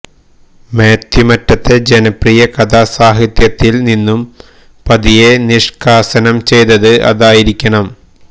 മാത്യു മറ്റത്തെ ജനപ്രിയ കഥാസാഹിത്യത്തിൽ നിന്നു പതിയെ നിഷ്കാസനം ചെയ്തത് അതായിരിക്കണം